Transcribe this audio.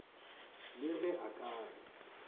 le ge a ka re